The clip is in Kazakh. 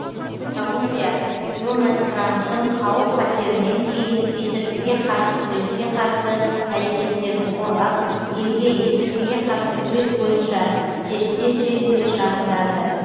колумбия дональд трамптың қауіп қатерінен кейін есірткіге қарсы күреске қарсы әрекеттерін қорғап елге есірткіге қарсы күрес бойынша серіктес ретінде шағымданды